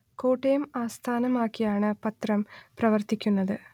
കോട്ടയം ആസ്ഥാനം ആക്കി ആണ് പത്രം പ്രവർത്തിക്കുന്നത്